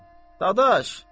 Qadaş.